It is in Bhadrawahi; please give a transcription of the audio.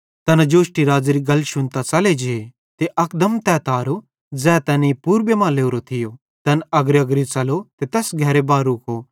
तैना जोष्टी हेरोदेस राज़ेरी गल शुन्तां यरूशलेम नगरेरां च़ले जे ते अकदम तै तारो ज़ै तैनेईं पूरबे मां लोरो थियो तैन अग्रीअग्री च़लो ते तैस घरेरे बा रुको ज़ैड़ी तैन मट्ठू थियूं